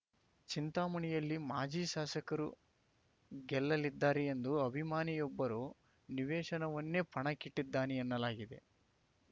ಚಿಂತಾಮಣಿಯಲ್ಲಿ ಮಾಜಿ ಶಾಸಕರು ಗೆಲ್ಲಲಿದ್ದಾರೆ ಎಂದು ಅಭಿಮಾನಿಯೊಬ್ಬರು ನಿವೇಶನವನ್ನೇ ಪಣಕ್ಕಿಟ್ಟಿದ್ದಾನೆ ಎನ್ನಲಾಗಿದೆ